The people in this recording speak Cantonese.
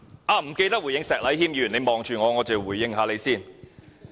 我忘了回應石禮謙議員，他看着我，我且回應一下他。